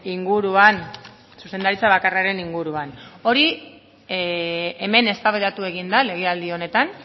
inguruan zuzendaritza bakarraren inguruan hori hemen eztabaidatu egin da legealdi honetan